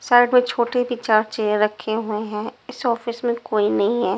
Side में छोटे भी चार चेयर रखे हुए हैं इस ऑफिस में कोई नहीं है।